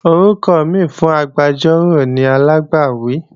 Orúkọ mìíràn fún agbẹjọ́rò ni alágbàwí